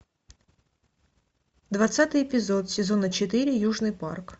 двадцатый эпизод сезона четыре южный парк